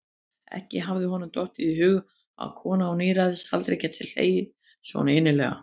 Ekki hafði honum dottið í hug að kona á níræðisaldri gæti hlegið svo innilega.